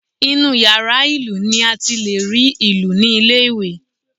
Inú yàrá ìlù ni a ti lè rí ìlù ní ilé ìwé